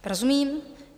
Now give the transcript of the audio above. Rozumím.